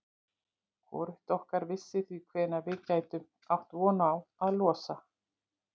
Hvorugt okkar vissi því hvenær við gætum átt von á að losna.